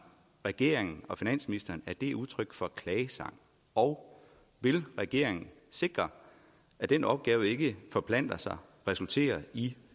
regeringen og finansministeren at det er udtryk for en klagesang og vil regeringen sikre at den opgave ikke forplanter sig og resulterer i